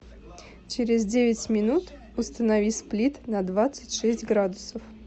через девять минут установи сплит на двадцать шесть градусов